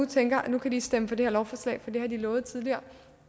tænker at nu kan de stemme for det lovforslag for det har de lovet tidligere